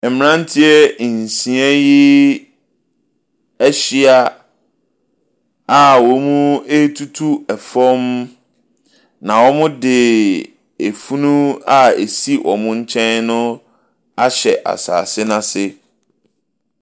Mmeranteɛ nsia yi ahyia a wɔretutu fam, na wɔde funu a ɛsi wɔn nkyɛn no ahyɛ asase no ase.